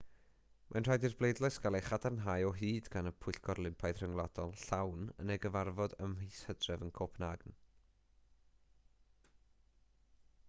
mae'n rhaid i'r bleidlais gael ei chadarnhau o hyd gan y pwyllgor olympaidd rhyngwladol llawn yn ei gyfarfod ym mis hydref yn copenhagen